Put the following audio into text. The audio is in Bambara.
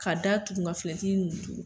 Ka da tuku ka finɛtiriw tuku.